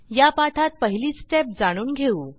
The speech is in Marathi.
या पाठात पहिली स्टेप जाणून घेऊ